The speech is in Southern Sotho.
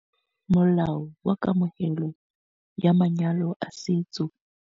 Molao wa Kamohelo ya Manyalo a Setso.